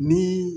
Ni